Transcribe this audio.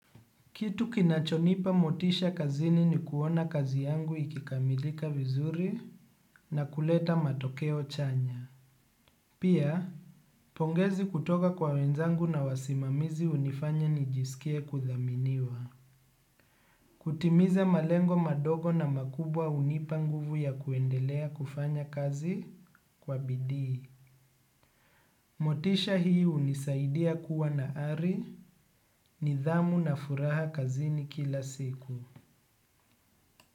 Kitu kinachonipa motisha kazini ni kuona kazi yangu ikikamilika vizuri na kuleta matokeo chanya. Pia, pongezi kutoka kwa wenzangu na wasimamizi unifanya nijisikie kudhaminiwa. Kutimiza malengo madogo na makubwa unipa nguvu ya kuendelea kufanya kazi kwa bidii. Motisha hii unisaidia kuwana ari, nidhamu na furaha kazini kila siku.